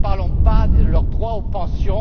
Et ne parlons pas de leurs droits aux pensions!